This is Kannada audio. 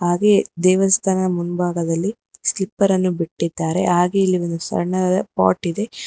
ಹಾಗೆ ದೇವಸ್ಥಾನದ ಮುಂಭಾಗದಲ್ಲಿ ಸ್ಲಿಪ್ಪರ್ ಅನ್ನು ಬಿಟ್ಟಿದ್ದಾರೆ ಹಾಗೆ ಇಲ್ಲಿ ಒಂದು ಸಣ್ಣದಾದ ಪಾಟ್ ಇದೆ.